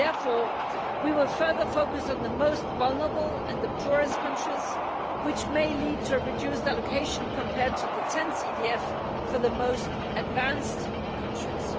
Therefore, we will further focus on the most vulnerable and the poorest countries, which may lead to a reduced allocation compared to the 10th EDF for the most advanced countries.